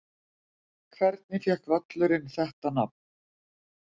Hvernig fékk völlurinn þetta nafn?